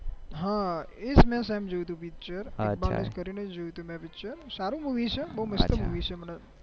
હા એજ ને સેમ જોયું હતું picture સારું મુવી છે બહુ મસ્ત છે